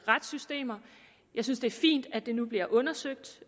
retssystemer og jeg synes det er fint at det nu bliver undersøgt